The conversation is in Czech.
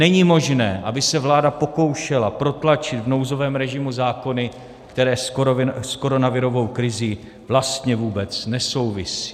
Není možné, aby se vláda pokoušela protlačit v nouzovém režimu zákony, které s koronavirovou krizí vlastně vůbec nesouvisí.